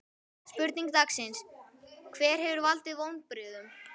Spurningar dagsins: Hver hefur valdið vonbrigðum?